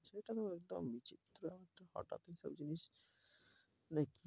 সেটা না হয় একটা বিচিত্র ফাটা ফোটা জিনিস নাকি?